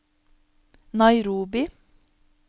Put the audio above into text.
Nairobi